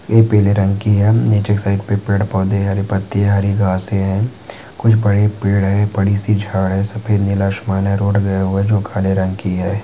ये पीले रंग की है नीचे एक साइड पे पेड़ पौधे है हरी पत्ती हरी घासे है कुछ बड़े पेड़ है बडी सी झाड है सफ़ेद नीला आसमान है रोड गया हुआ है जो काले रंग की है।